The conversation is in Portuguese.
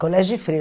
Colégio de freira.